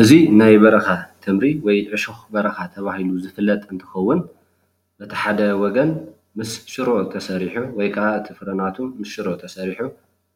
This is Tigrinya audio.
እዚ ናይ በረኻ ተምሪ ወይ ዕሾክ በረኻ ተባሂሉ ዝፍለጥ እንትከውን በቲ ሓደ ወገን ምስ ሽሮ ተሰሪሑ ወይ ከዓ እቲ ፍረ ናሃቱ ሽሮ ተሰሪሑ